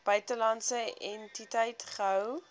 buitelandse entiteit gehou